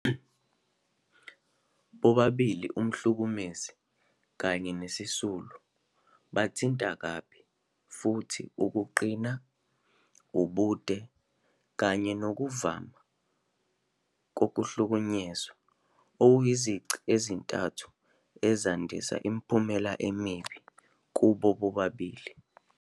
Bobabili umhlukumezi kanye nesisulu bathinta kabi, futhi ukuqina, ubude, kanye nokuvama kokuhlukunyezwa kuyizici ezintathu ezandisa imiphumela emibi kubo bobabili.